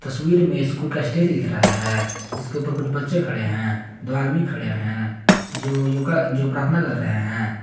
में स्कूल का स्टेज दिख रहा है जिसके ऊपर कुछ बच्चे खड़े हैं दो आदमी खड़े हैं जो योगा जो प्रार्थना कर रहे हैं।